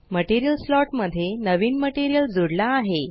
material slot मध्ये नवीन material जुडला आहे